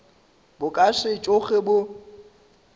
bo ka se tsoge bo